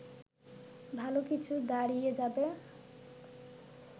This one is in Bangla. ভালো কিছু দাঁড়িয়ে যাবে